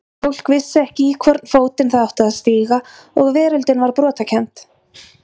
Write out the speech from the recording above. Fólk vissi ekki í hvorn fótinn það átti að stíga og veröldin var brotakennd.